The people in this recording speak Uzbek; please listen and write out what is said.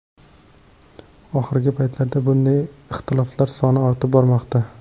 Oxirgi paytlarda bunday ixtiloflar soni ortib bormoqda.